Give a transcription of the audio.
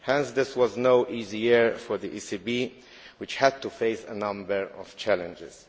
This was no easy year for the ECB, which had to face a number of challenges.